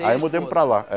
Aí mudamos para lá. É